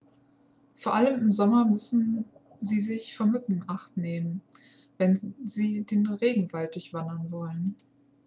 vor allem im sommer müssen sie sich vor mücken in acht nehmen wenn sie den regenwald durchwandern wollen